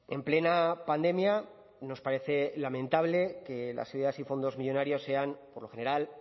en plena pandemia nos parece lamentable que las ideas y fondos millónarios sean por lo general